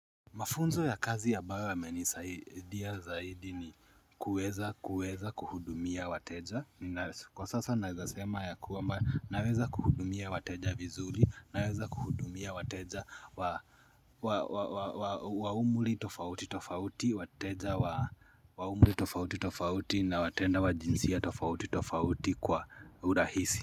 Mafunzo ya kazi ambayo yamenisaidia zaidi ni kuweza kuweza kuhudumia wateja Kwa sasa naweza sema ya kuwamba naweza kuhudumia wateja vizuri Naweza kuhudumia wateja wa umri tofauti tofauti wateja wa umri tofauti tofauti na tena wa jinsia tofauti tofauti kwa urahisi.